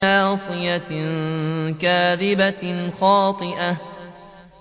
نَاصِيَةٍ كَاذِبَةٍ خَاطِئَةٍ